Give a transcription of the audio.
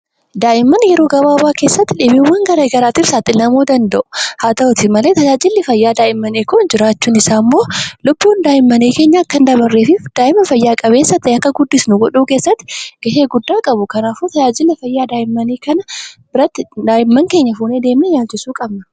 Daa'imman yeroo gabaaba keessatti dhibeewwan garagaraatiif saaxilamuu danda'u. Haa ta'u malee tajaajilli fayyaa daa'immanii jiraachuun isaa kunimmoo dhukkubni kun daa'imman akka hin miinee fi lubbuu isaanii baraaruu keessatti gahee olaanaa qabu. Kanaafuu daa'imman keenya gara dhaabbata yaalaa kanatti fuunee deemnee yaalchisuu qabna.